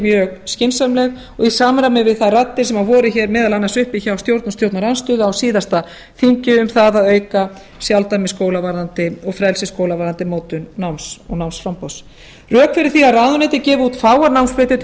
mjög skynsamleg og í samræmi við þær raddir sem voru hér meðal annars uppi hjá stjórn og stjórnarandstöðu á síðasta þingi um það að auka sjálfdæmi og fræðslu skóla varðandi mótun náms og námsframboðs rök fyrir því að ráðuneytið gefi út fáar námsbrautir til